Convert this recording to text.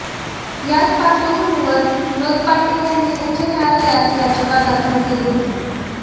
याच पार्श्वभूमीवर विनोद पाटील यांनी उच्च न्यायालयात याचिका दाखल केली होती